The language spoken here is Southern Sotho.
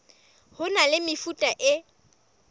ho na le mefuta e